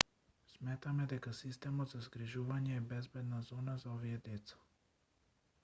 сметаме дека системот за згрижување е безбедна зона за овие деца